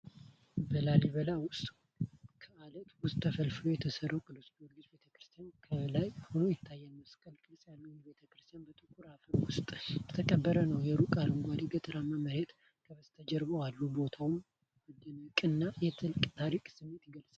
በላሊበላ ውስጥ በአለት ውስጥ ተፈልፍሎ የተሠራው የቅዱስ ጊዮርጊስ ቤተ ክርስቲያን ከላይ ሆኖ ይታያል። መስቀል ቅርጽ ያለው ይህ ቤተ ክርስቲያን በጥቁር አፈር ውስጥ የተቀበረ ነው፤ የሩቅ አረንጓዴ ገጠራማ መሬት ከበስተጀርባ አለ። ቦታውመደነቅንና የጥልቅ ታሪክ ስሜትን ይገልጻል።